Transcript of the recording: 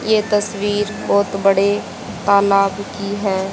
ये तस्वीर बहुत बड़े तालाब की है।